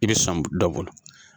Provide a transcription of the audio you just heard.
I bɛ sɔn dɔ bolo.